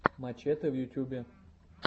мачэтэ в ютубе